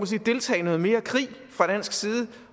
skal deltage i noget mere krig fra dansk side